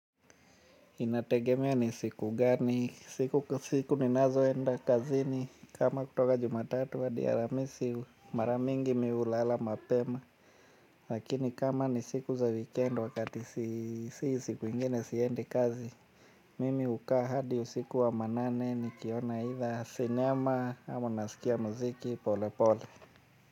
Inategemea ni siku gani, siku ninazo enda kazini kama kutoka jumatatu hadi alhamisi mara mingi mimi hulala mapema. Lakini kama ni siku za wikendi wakati siku ingine siendi kazi. Mimi hukaa hadi usiku wa manane nikiona either sinema ama nasikia muziki pole pole.